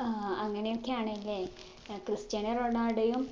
ആ അങ്ങനെയൊക്കെ ആണല്ലേ ഏർ ക്രിസ്റ്റ്യാനോ റൊണാൾഡോയും